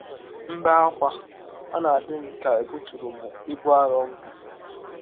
M bee ákwá, ọ na - adị m ka è bụtụrụ m ibụ arọ m bụ.